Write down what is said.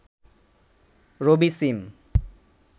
রবি সিম